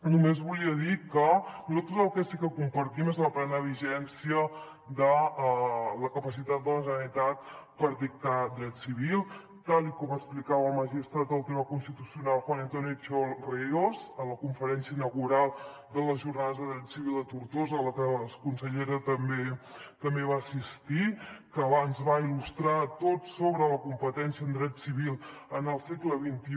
només volia dir que nosaltres el que sí que compartim és la plena vigència de la capacitat de la generalitat per dictar dret civil tal com explicava el magistrat del tribunal constitucional juan antonio xiol ríos a la conferència inaugural de les jornades de dret civil de tortosa a les que la consellera també va assistir que ens va il·lustrar a tots sobre la competència en dret civil en el segle xxi